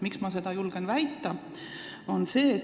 Miks ma seda julgen väita?